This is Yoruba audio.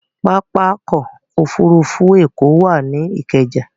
Pápákọ̀ òfurufú Èkó wà ní Ikeja